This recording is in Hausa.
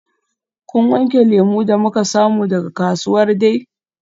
Kun wanke lemu da muka samu daga kasuwar Dei?